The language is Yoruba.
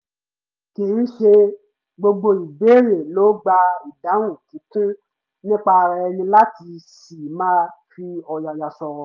kì í ṣe gbogbo ìbéèrè ló gba ìdáhùn kíkún nípa ara ẹni láti ṣì máa fi ọ̀yàyà sọ̀rọ̀